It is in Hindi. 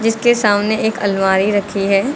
जिसके सामने एक अलमारी रखी है।